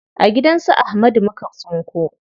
A gidan su Ahmadu muka tsinko.